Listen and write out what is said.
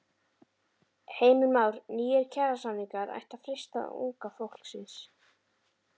Heimir Már: Nýir kjarasamningar ættu að freista unga fólksins?